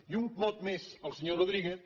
i un mot més al senyor rodríguez